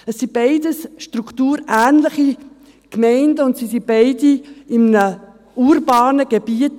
Es sind beides strukturähnliche Gemeinden, und beide sind in einem urbanen Gebiet.